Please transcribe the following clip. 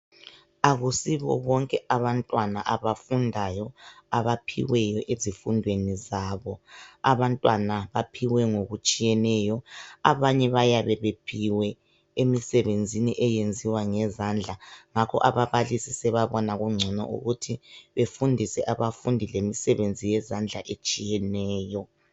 Akusibo bonke abantwana abafundayo abaphiweyo ezifundweni zabo. Abantwana baphiwe ngokutshiyeneyo, abanye bayabe bephiwe emsebenzini eyenziwa ngezandla. Ngakho ababalisi sebabona kungcono ukuthi bafundiswe abafundi imisebenzi yezandla etshiyeneyo.